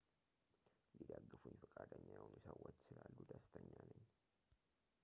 ሊደግፉኝ ፈቃደኛ የሆኑ ሰዎች ስላሉ ደስተኛ ነኝ